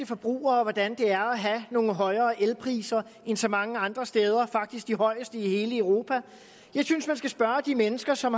forbrugere hvordan det er at have nogle højere elpriser end så mange andre steder faktisk de højeste i hele europa jeg synes man skal spørge de mennesker som